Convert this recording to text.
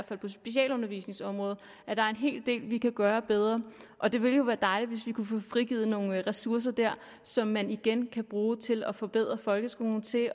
på specialundervisningsområdet er en hel del vi kan gøre bedre og det ville jo være dejligt hvis vi kunne få frigivet nogle ressourcer der som man igen kan bruge til at forbedre folkeskolen til at